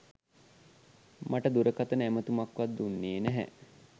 මට දුරකථන ඇමතුමක්වත් දුන්නේ නැහැ.